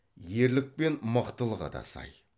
ерлік пен мықтылығы да сай